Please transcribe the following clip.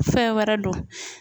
Fɛn wɛrɛ don